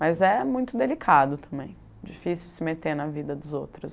Mas é muito delicado também, difícil se meter na vida dos outros.